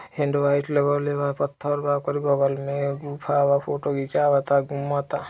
hello light लागल वा पत्थर वा गुफा वा फोटो खींचा वा घूमता |